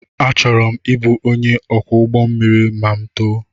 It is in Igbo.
Achọrọ m ịbụ onye ọkwọ ụgbọ mmiri ma m too